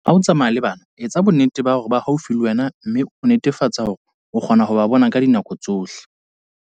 Ha o tsamaya le bana, etsa bonnete ba hore ba haufi le wena mme o netefatse hore o kgona ho ba bona ka dinako tsohle.